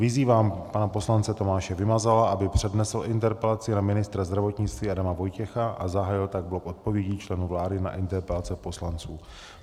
Vyzývám pana poslance Tomáše Vymazala, aby přednesl interpelaci na ministra zdravotnictví Adama Vojtěcha a zahájil tak blok odpovědí členů vlády na interpelace poslanců.